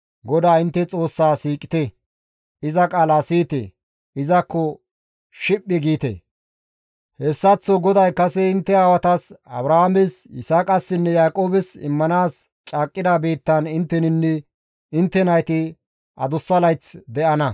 GODAA intte Xoossaa siiqite; iza qaala siyite; izakko shiphi giite; hessaththo hanikko GODAY kase intte aawatas, Abrahaames, Yisaaqassinne Yaaqoobes immanaas caaqqida biittan intteninne intte nayti adussa layth de7ana.